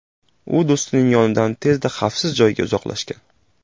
U do‘stining yonidan tezda xavfsiz joyga uzoqlashgan.